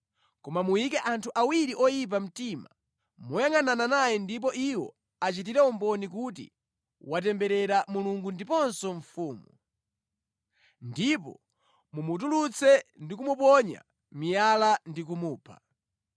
Koma muyike anthu awiri oyipa mtima moyangʼanana naye ndipo iwo achitire umboni kuti watemberera Mulungu ndiponso mfumu. Ndipo mumutulutse ndi kumuponya miyala ndi kumupha.”